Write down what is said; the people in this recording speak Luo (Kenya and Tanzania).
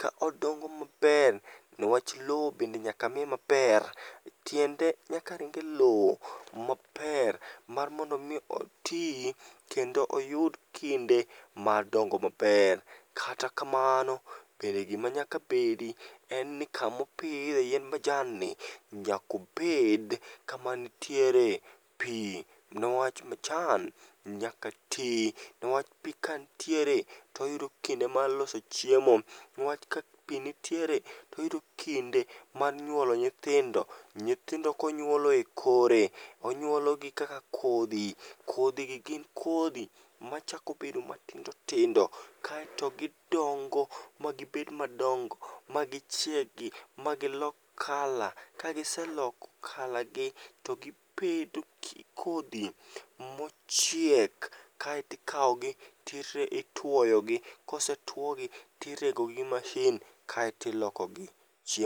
ka odongo maber nwach lowo bende nyaka miye maber. Tiende nyaka ring e lowo maber mar mondo omi oti kendo oyud kinde mar dongo maber. Kata kamano bende gima nyaka bedi en ni kaopidhe yiend majanni nyakobed kama nitiere pi nwach majan nyaka ti nwach pi kantiere toyudo kinde mar loso chiemo, nwach ka pi ntiere toyudo kinde mar nyuolo nyithindo nyithindo konyuolo e kore onyuolo gi kaka kodhi kodhigi gin kodhi machako bedo matindo tindo kaeto gidongo magibed madongo ma gichiegi ma gilok kala kagiseloko kalagi to gibedo kodhi mochiek kaetikawogi titwoyogi kose twogi tiregogi mashin kaeto ilokogi chiemo.